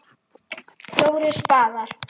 FJÓRIR spaðar.